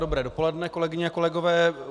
Dobré dopoledne, kolegyně a kolegové.